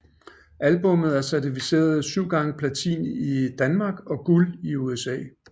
Albummet er certificeret 7 x Platin i Danmark og Guld i USA